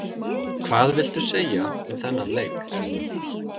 Hvað viltu segja um þennan leik?